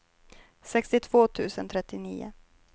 sextiotvå tusen trettionio